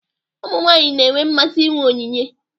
Ụmụ nwanyị na-enwe mmasị inwe onyinye.